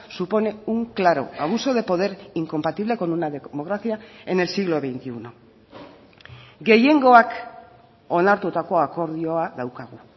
supone un claro abuso de poder incompatible con una democracia en el siglo veintiuno gehiengoak onartutako akordioa daukagu